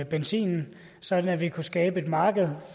benzinen sådan at vi kan skabe et marked